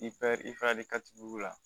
I fɛ i fɛ de ka tibu la